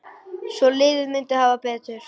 Hvort liðið myndi hafa betur?